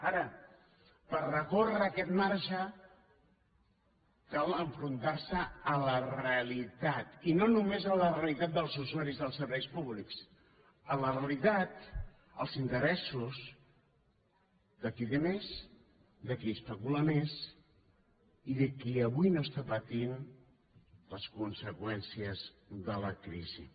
ara per recórrer aquest marge cal enfrontar se a la realitat i no només a la realitat dels usuaris dels serveis públics a la realitat als interessos de qui té més de qui especula més i de qui avui no pateix les conseqüències de la crisi